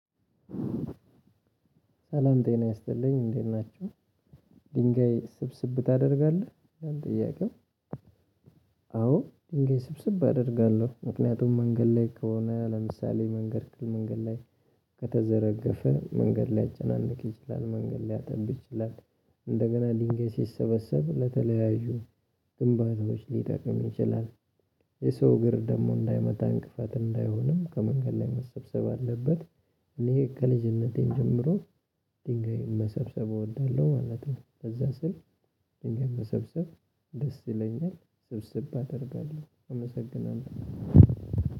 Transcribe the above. ሰላም ጤና ያስጥልኝ እንዴት ናችሁ። ድንጋይ ስብስብ ታደርጋለህ ይላል ጥያቄው? አዎ ድንጋይ ስብስብ አደርጋለሁ ምክንያቱም መንገድ ላይ ከሆነ ለምሳሌ መንገድ ክልል መንገድ ላይ ከተዘረገፈ መንገድ ሊያጨናንቅ ይችላል መንገድ ሊያጠብ ይችላል። እንደገና ድንጋይ ስሰበሰበ ለተለያዩ ግንባተዎች ሊጠቅም ይችላል። የሰው እግር ደግሞ እንዳይመታ እንቅፋት እንዳይሆንም ከመንገድ ላይ መሰብሰብ አለበት። እኔ ከልጅነቴም ጀምሮ ድንጋይ መሰብሰብ እወዳለሁ ማለት ነው። በዛ ስል ድንጋይ መሰብሰብ ደስ ይለኛል ስብስብ አደርጋለሁ። አመሰግናለሁ